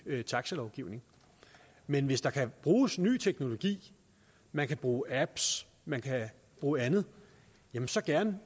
taxalovgivning men hvis der kan bruges ny teknologi man kan bruge apps man kan bruge andet så gerne